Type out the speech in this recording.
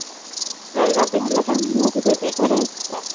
स्वर्गापेक्षापन होते ते खरच